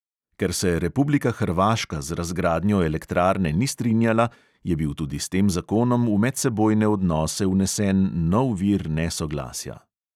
Ker se republika hrvaška z razgradnjo elektrarne ni strinjala, je bil tudi s tem zakonom v medsebojne odnose vnesen nov vir nesoglasja.